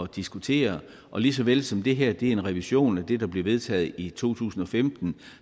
diskutere lige så vel som det her er en revision af det der blev vedtaget i to tusind og femten